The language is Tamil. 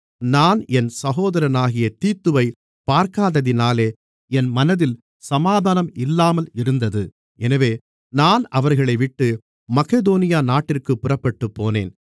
நான் என் சகோதரனாகிய தீத்துவைப் பார்க்காததினாலே என் மனதில் சமாதானம் இல்லாமல் இருந்தது எனவே நான் அவர்களைவிட்டு மக்கெதோனியா நாட்டிற்குப் புறப்பட்டுப்போனேன்